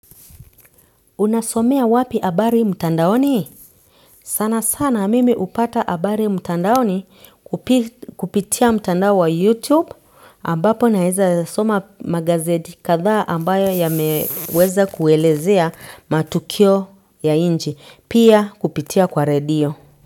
Unasomea wapi habari mtandaoni? Sana sana mimi hupata habari mtandaoni kupitia mtandao wa YouTube ambapo naeza soma magazeti kadhaa ambayo yameweza kuelezea matukio ya nchi pia kupitia kwa radio.